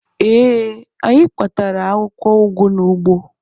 Ee, anyị kpatara akwụkwọ ụgụ n'ugbo